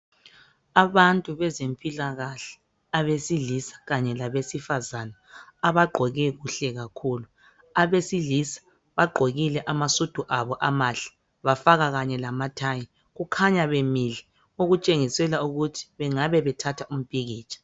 Abantu bezempilakahle abesilisa kanye labesifazana abagqoke kuhle kakhulu. Abesilisa bagqokile amasudu abo amahle bafaka kanye lamathayi kukhanya bemile okutshengisela ukuthi bengabe bethatha umpikitsha.